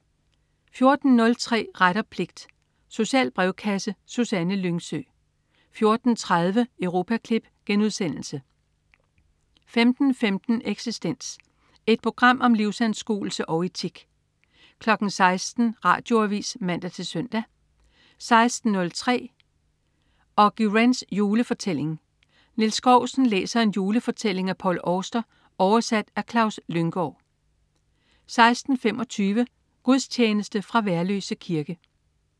14.03 Ret og pligt. Social brevkasse. Susanne Lyngsø 14.30 Europaklip* 15.15 Eksistens. Et program om livsanskuelse og etik 16.00 Radioavis (man-søn) 16.03 Auggie Wrens julefortælling. Niels Skousen læser en julefortælling af Paul Auster, oversat af Klaus Lynggaard 16.25 Gudstjeneste. Fra Værløse Kirke